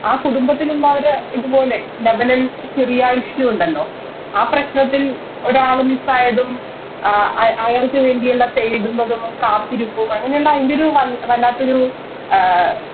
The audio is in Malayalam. ആ കുടുംബത്തിലുണ്ടായൊരു ഇത് പോലെ ലതനൻ ചെറിയാ Issue ഉണ്ടല്ലോ ആ പ്രശ്നത്തിൽ ഒരാൾ Miss ആയതും ആഹ് അയാൾക്കുവേണ്ടിയുള്ള തേടുന്നതും ആ കാത്തിരിപ്പും അങ്ങനെയല്ല അയിൻറെയൊരു വല്ലാത്തൊരു ആഹ്